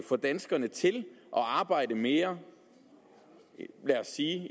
få danskerne til at arbejde mere lad os sige